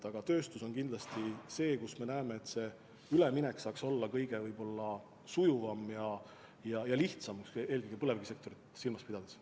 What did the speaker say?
Aga tööstus on kindlasti see, mille puhul me näeme, et see üleminek saaks olla kõige sujuvam ja lihtsam, eelkõige põlevkivisektorit silmas pidades.